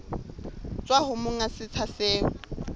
tswa ho monga setsha seo